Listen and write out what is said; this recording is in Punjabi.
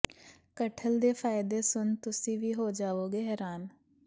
ਕਟਹਲ ਦੇ ਫਾਇਦੇ ਸੁਨ ਤੁਸੀਂ ਵੀ ਹੋ ਜਾਵੋਗੇ ਹੈਰਾਨ